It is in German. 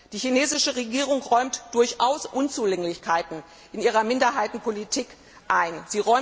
Die chinesische Regierung räumt durchaus Unzulänglichkeiten in ihrer Minderheitenpolitik ein.